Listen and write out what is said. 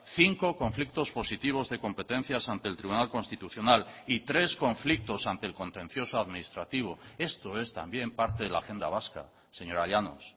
cinco conflictos positivos de competencias ante el tribunal constitucional y tres conflictos ante el contencioso administrativo esto es también parte de la agenda vasca señora llanos